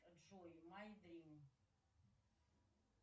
джой май дрим